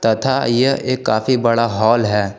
तथा यह एक काफी बड़ा हाल है।